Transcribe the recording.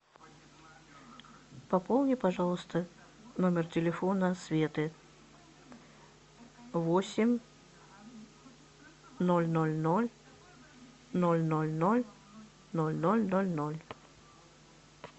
пополни пожалуйста номер телефона светы восемь ноль ноль ноль ноль ноль ноль ноль ноль ноль ноль